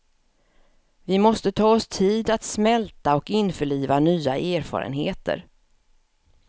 Vi måste ta oss tid att smälta och införliva nya erfarenheter.